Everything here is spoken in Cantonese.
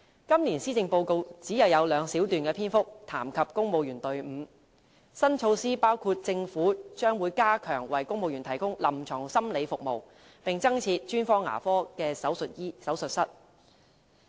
今年施政報告只有兩小段的篇幅談及公務員隊伍，新措施包括政府將會加強為公務員提供臨床心理服務，並增設專科牙科手術室。